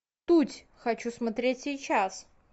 путь хочу смотреть сейчас